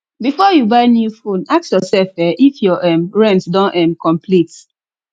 before you buy new phone ask yourself um if your um rent don um complete